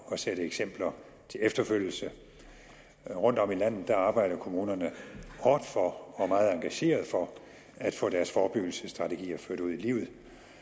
og sætte eksempler til efterfølgelse rundtom i landet arbejder kommunerne hårdt for og meget engageret for at få deres forebyggelsesstrategier ført ud i livet